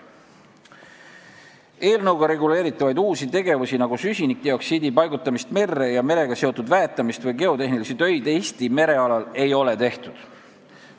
Eelnõuga reguleeritavaid uusi tegevusi, nagu süsinikdioksiidi paigutamist merre ja merega seotud väetamist või geotehnilisi töid, Eesti merealal ei ole tehtud.